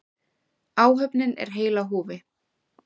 Áhöfnin er heil á húfi